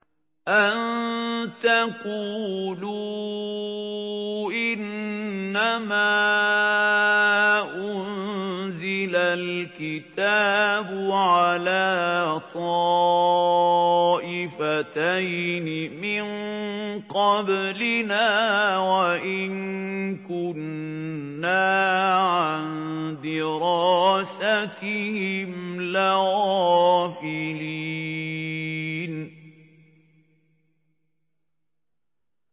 أَن تَقُولُوا إِنَّمَا أُنزِلَ الْكِتَابُ عَلَىٰ طَائِفَتَيْنِ مِن قَبْلِنَا وَإِن كُنَّا عَن دِرَاسَتِهِمْ لَغَافِلِينَ